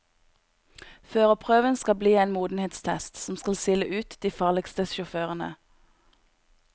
Førerprøven skal bli en modenhetstest, som skal sile ut de farligste sjåførene.